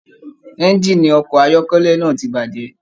Ẹ̀ngiini ọkọ ayọkẹlẹ náà tí bajẹ.